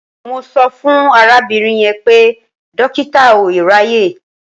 Mo sọ fún arábìnrin yẹn pé dọ́kítà ò ráàyè.